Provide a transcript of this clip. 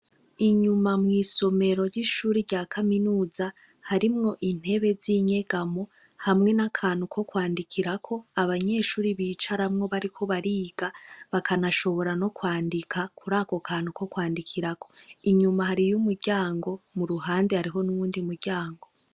Inyuma mw'isomero ry'ishuri rya kaminuza, harimwo intebe z'inyegamo, hamwe n'akantu ko kwandikirako, abanyeshuri bicaramwo bariko bariga, bakanashobora no kwandika, kuri ako kantu ko kwandikirako. Inyuma hariyo umuryango, mu ruhande hariho n'uwundi muryango.